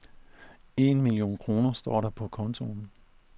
En million kroner står der på kontoen.